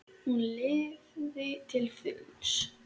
Hún lifði til fulls.